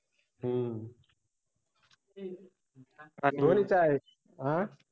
हम्म आं